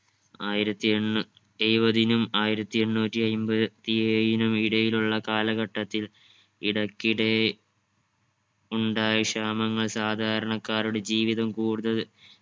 ആയിരത്തി എണ്ണൂ എഴുപതിനും ആയിരത്തി എണ്ണൂറ്റി അയ്മ്പത്തി ഏഴിനും ഇടയിലുള്ള കാലഘട്ടത്തിൽ ഇടക്കിടെ ഉണ്ടായ ക്ഷാമങ്ങൾ സാധരണക്കാരുടെ ജീവിതം കൂടുതൽ